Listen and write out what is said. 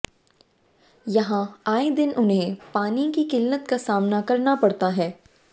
यहां आए दिन उन्हें पानी की किल्लत का सामना करना पड़ता है